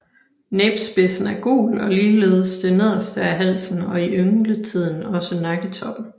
Næbspidsen er gul og ligeledes det nederste af halsen og i yngletiden også nakketoppen